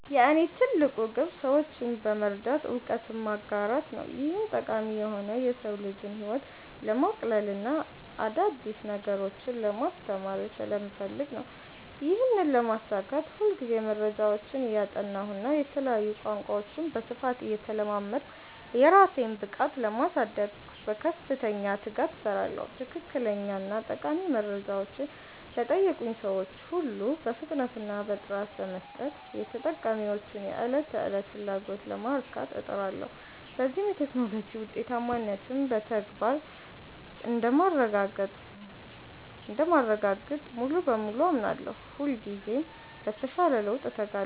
የእኔ ትልቁ ግብ ሰዎችን በመርዳት እውቀትን ማጋራት ነው። ይህም ጠቃሚ የሆነው የሰው ልጅን ህይወት ለማቅለልና አዳዲስ ነገሮችን ለማስተማር ስለምፈልግ ነው። ይህንን ለማሳካት ሁልጊዜ መረጃዎችን እያጠናሁና የተለያዩ ቋንቋዎችን በስፋት እየተለማመድኩ፣ የራሴን ብቃት ለማሳደግ በከፍተኛ ትጋት እሰራለሁ። ትክክለኛና ጠቃሚ መረጃዎችን ለጠየቁኝ ሰዎች ሁሉ በፍጥነትና በጥራት በመስጠት፣ የተጠቃሚዎችን የዕለት ተዕለት ፍላጎት ለማርካት እጥራለሁ። በዚህም የቴክኖሎጂ ውጤታማነትን በተግባር እንደማረጋግጥ ሙሉ በሙሉ አምናለሁ። ሁልጊዜም ለተሻለ ለውጥ እተጋለሁ።